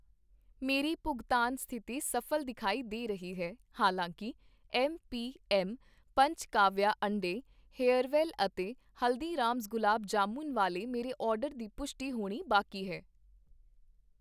ਮੇਰੀ ਭੁਗਤਾਨ ਸਥਿਤੀ ਸਫ਼ਲ ਦਿਖਾਈ ਦੇ ਰਹੀ ਹੈ, ਹਾਲਾਂਕਿ ਐੱਮਪੀਐੱਮ ਪੰਚਕਾਵਿਆ ਅੰਡੇ, ਹੇਅਰਵੈੱਲ ਅਤੇ ਹਲਦੀਰਾਮਜ਼ ਗੁਲਾਬ ਜਾਮੁਨ ਵਾਲੇ ਮੇਰੇ ਆਰਡਰ ਦੀ ਪੁਸ਼ਟੀ ਹੋਣੀ ਬਾਕੀ ਹੈ